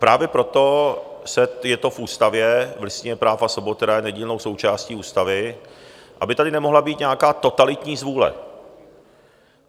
Právě proto je to v ústavě, v Listině práv a svobod, která je nedílnou součástí ústavy, aby tady nemohla být nějaká totalitní zvůle.